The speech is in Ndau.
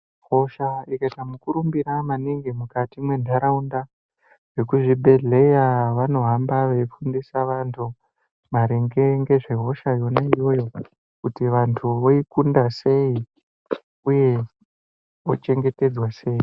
Hosha ikaita mukurumbira maningi mukati mentaraunda, vekuzvibhedhlera vanohamba veifundisa vantu maringe nezve hosha yona iyoyo, kuti vantu voikunda sei uye vochengetedzwa sei.